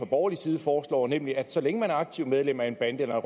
borgerlige side foreslår nemlig at så længe man er aktivt medlem af en bande eller